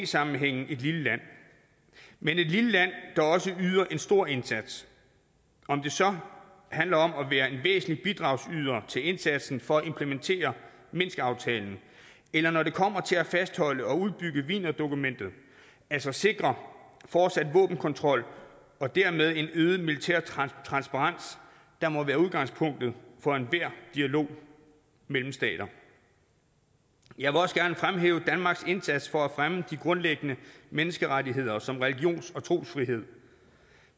sammenhænge et lille land men et lille land der også yder en stor indsats om det så handler om at være en væsentlig bidragsyder til indsatsen for at implementere minskaftalen eller når det kommer til at fastholde og udbygge wienerdokumentet altså sikre fortsat våbenkontrol og dermed en øget militær transparens der må være udgangspunktet for enhver dialog mellem stater jeg vil også gerne fremhæve danmarks indsats for at fremme de grundlæggende menneskerettigheder som religions og trosfrihed